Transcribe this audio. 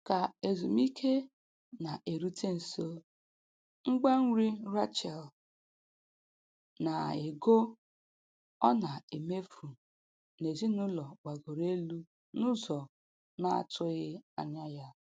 Ka ezumiike na-erute nso, ngwa nri Rachel na ego ọ na-emefu n'ezinụlọ gbagoro elu n'ụzọ na-atụghị anya ya.